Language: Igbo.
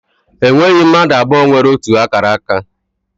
E nweghị mmadụ abụọ nwere ótù akara aka.